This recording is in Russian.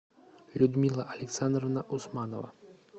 людмила александровна усманова